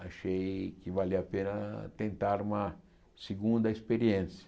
achei que valia a pena tentar uma segunda experiência.